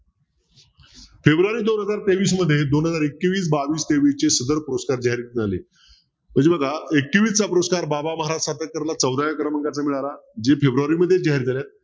February दोन हजार तेवीस मध्ये दोन हजार एकवीस बावीस तेवीसचे सदर पुरस्कार जाहीर झाले. तरी बघा एकवीस हा पुरस्कार बाबा महाराज सातारकरला चौदाव्या क्रमांकाचा मिळाला. जे फेब्रुवारी मध्ये जाहीर झालेत.